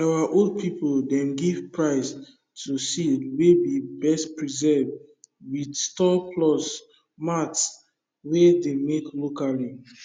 our old people dem give prize to seed wey be best preserved with stool plus mat wey dey make locally